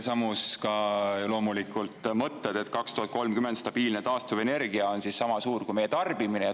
Samuti loomulikult mõte, et aastal 2030 on taastuvenergia stabiilselt sama suur kui meie tarbimine.